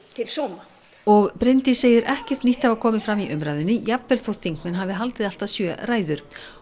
til sóma og Bryndís segir ekkert nýtt hafa komið fram í umræðunni jafnvel þótt þingmenn hafi haldið allt að sjö ræður